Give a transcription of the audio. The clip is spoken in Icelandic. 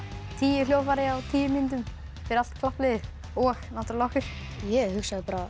tíu hljóðfæri á tíu mínútum fyrir allt klappliðið og náttúrlega okkur ég hugsaði bara